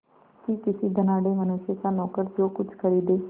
कि किसी धनाढ़य मनुष्य का नौकर जो कुछ खरीदे